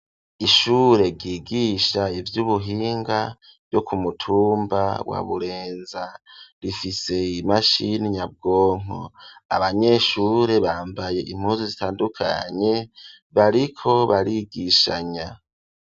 ishure ryigisha ivy'ubuhinga ryo kumutumba wa burenza rifise imashini nyabwonko abanyeshure bambaye impuzi zitandukanye bariko barigishanya.